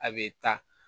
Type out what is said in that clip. A bɛ taa